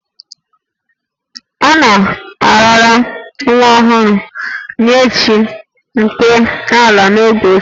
A na-arara nwa ọhụrụ nye chi nke ala n'oge ochie